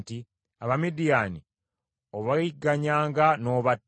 “Abamidiyaani obayigganyanga n’obatta,